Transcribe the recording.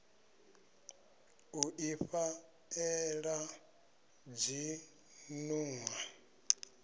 u ifha ela dzinnḓu a